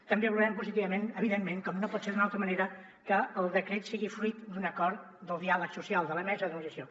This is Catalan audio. també valorem positivament evidentment com no pot ser d’una altra manera que el decret sigui fruit d’un acord del diàleg social de la mesa de negociació